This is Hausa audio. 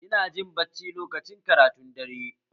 Ina jin bacci lokacin karatun dare